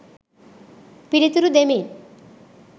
පිළිතුරු දෙමින්